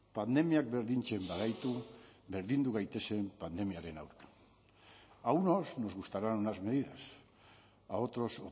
pandemiak berdintzen bagaitu berdindu gaitezen pandemiaren aurka a unos nos gustarán unas medidas a otros